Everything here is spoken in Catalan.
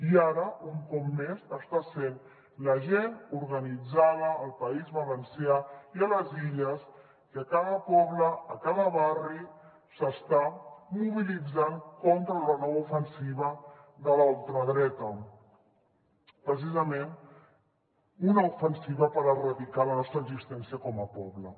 i ara un cop més està sent la gent organitzada al país valencià i a les illes que a cada poble a cada barri s’està mobilitzant contra la nova ofensiva de la ultradreta precisament una ofensiva per erradicar la nostra existència com a poble